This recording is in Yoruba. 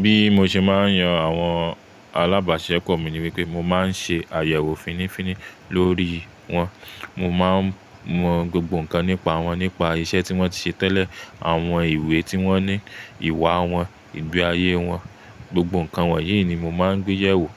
Bí mo ṣe máa ń yan àwọn alábàṣeọ̀pọ̀ mi ni wípé mo máa ń ṣe àyẹ̀wò fínnífínní lórí wọn. Mo máa mọ gbogbo nǹkan nípa wọn, nípa iṣẹ́ tí wọ́n ti ṣe tẹ́lẹ̀, àwọn ìwúwe tí wọ́n ní, ìwà wọn, ìgbé ayé wọn, gbogbo nǹkan wọ̀nyí ni mo máa gbé yẹ̀ wò